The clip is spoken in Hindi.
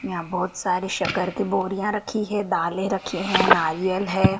यहां बहुत सारी शक्कर की बोरियां रखी हैं दालें रखी हैं नारियल है।